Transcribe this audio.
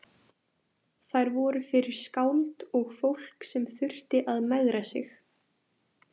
Þær voru fyrir skáld og fólk sem þurfti að megra sig.